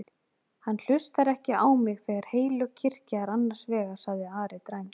Hann hlustar ekki á mig þegar heilög kirkja er annars vegar, sagði Ari dræmt.